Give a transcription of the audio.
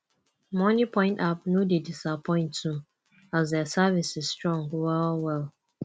moniepoint app no dey disappoint too as dia services strong well well